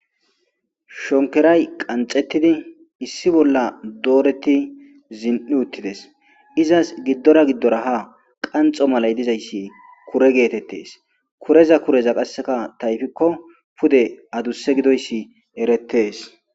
Shonikoray qanixetidi issi bolla doreti zin utides.iza giddora giddora qanixo malayi ha diza isssi kure getetes.kurz kureza qasika payidiko dees